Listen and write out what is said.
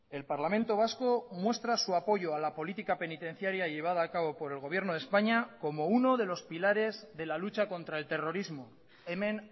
el parlamento vasco muestra su apoyo a la política penitenciaria llevada acabo por el gobierno de españa como uno de los pilares de la lucha contra el terrorismo hemen